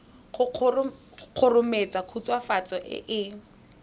go kgomaretsa khutswafatso e e